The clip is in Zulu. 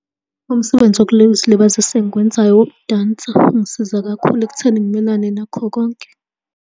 Umsebenzi wokuzilibazisa engiwenzayo owokudansa, ungisiza kakhulu ekutheni ngimelane nakho konke.